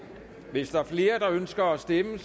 hvis der er flere der ønsker at stemme